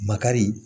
Makari